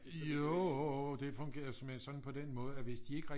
Jo det fungerede såmænd sådan på den måde at hvis de ikke